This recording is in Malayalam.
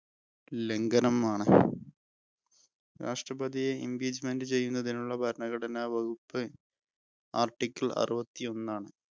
ലംഘനമാണ്. രാഷ്ട്രപതിയെ Impeachment ചെയ്യുന്നതിനുള്ള ഭരണഘടനാ വകുപ്പ് Article അറുപത്തി ഒന്നാണ്.